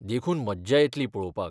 देखून मज्जा येतली पळोवपाक.